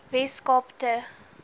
wes kaap te